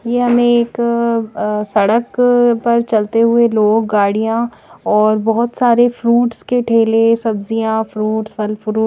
ये हमें एक सड़क पर चलते हुए लोक गाड़ीआ और बहत सरे फ्रूट्स के ठेले सब्जिआ फ्रूट्स फल फ्रू--